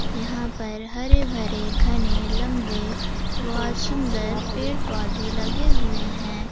यहां पर हरे भरे घने लंबे बहुत सुंदर पेड़ पौधे लगे हुए हैं।